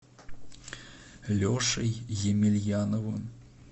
лешей емельяновым